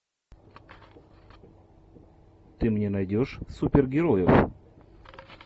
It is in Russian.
ты мне найдешь супергероев